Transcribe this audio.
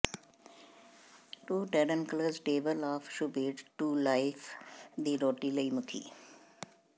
ਟੋਰੰਟੇਨਕਲਜ਼ table of ਸ਼ੂਬੈੱਡ to life ਦੀ ਰੋਟੀ ਲਈ ਮੁਖੀ